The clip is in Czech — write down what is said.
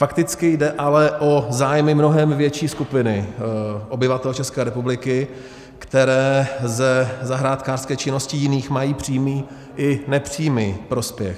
Fakticky jde ale o zájmy mnohem větší skupiny obyvatel České republiky, které ze zahrádkářské činnosti jiných mají přímý i nepřímý prospěch.